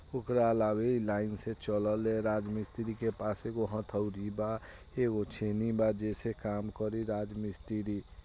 ओकरा ला अभी लाइन से चलले राजमिस्त्री के पास एगो हथौड़ी बा एगो छेनी बा जे से काम करि राजमिस्त्री।